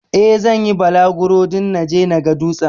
Eh, zan yi bulaguro don naje na ga dutsen.